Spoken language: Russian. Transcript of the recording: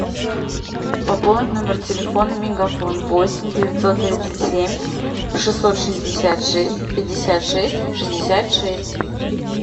пополнить номер телефона мегафон восемь девятьсот тридцать семь шестьсот шестьдесят шесть пятьдесят шесть шестьдесят шесть